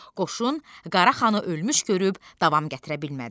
Qoşun Qaraxanı ölmüş görüb davam gətirə bilmədi.